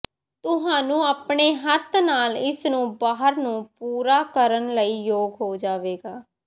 ਤੁਹਾਨੂੰ ਆਪਣੇ ਹੱਥ ਨਾਲ ਇਸ ਨੂੰ ਬਾਹਰ ਨੂੰ ਪੂਰਾ ਕਰਨ ਲਈ ਯੋਗ ਹੋ ਜਾਵੇਗਾ